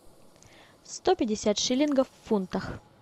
сто пятьдесят шиллингов в фунтах